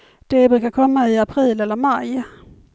De brukar komma i april eller maj.